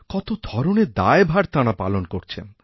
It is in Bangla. কত ধরণের দায়ভার তাঁরা পালন করছেন